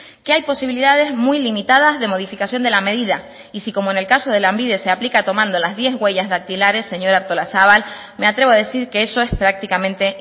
que hay posibilidades muy limitadas de modificación de la medida y si como en el caso de lanbide se aplica tomando las diez huellas dactilares señora artolazabal me atrevo a decir que eso es prácticamente